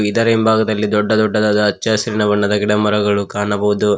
ಇದರ ಹಿಂಭಾಗದಲ್ಲಿ ದೊಡ್ಡ ದೊಡ್ಡದಾದ ಹಚ್ಚ ಹಸಿರಿನ ಬಣ್ಣದ ಗಿಡಮರಗಳು ಕಾಣಬಹುದು.